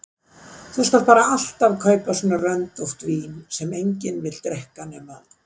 Þú skalt bara alltaf kaupa svona röndótt vín sem enginn vill drekka nema